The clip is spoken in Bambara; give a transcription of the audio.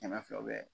Kɛmɛ fila u bɛ